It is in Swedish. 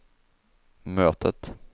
mötet